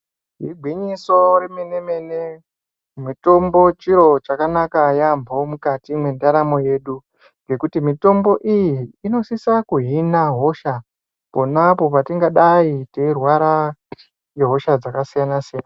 Igwinyiso remene-mene, mitombo chiro chakanaka yaambo mukati mwendaramo yedu. Ngekuti mitombo iyi inosisa kuhina hosha ponapo patingadai teirwara ngehosha dzakasiyana-siyana.